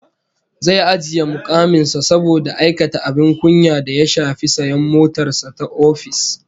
Zai ajiye mukamin sa saboda aikata abin kunya da ya shafi sayan motar sa ta ofis